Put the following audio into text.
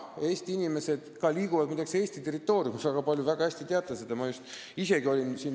Eesti inimesed, muide, liiguvad ka Eesti territooriumil väga palju ringi, te väga hästi seda teate.